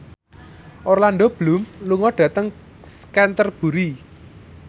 Orlando Bloom lunga dhateng Canterbury